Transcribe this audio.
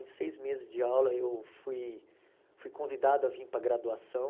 Em seis meses de aula, eu fui fui convidado a vim para a graduação.